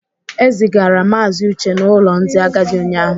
E zigara Maazị Uche n'ụlọ ndị agadi ụnyahụ.